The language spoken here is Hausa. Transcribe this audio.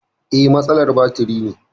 Eh, matsalar batiri ne